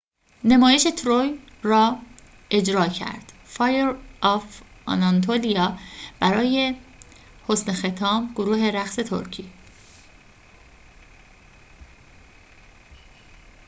برای حسن ختام گروه رقص ترکی fire of anatolia نمایش تروی را اجرا کرد